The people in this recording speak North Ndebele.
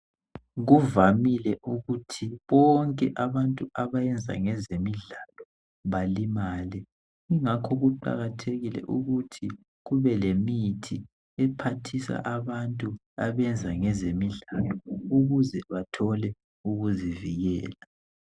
Kuvamile ukuthi bonke abantu abayenza ngezemidlalo balimale, ingakho kuqakathekile ukuthi kube lemithi ephathisa abantu abenza ngezemidlalo ukuze bathole ukuzivikela